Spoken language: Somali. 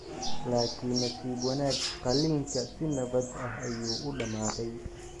Laakiin nasiib wanaag qalliinka si nabad ah ayuu u dhammaaday.